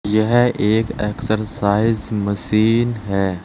यह एक exercise machine है।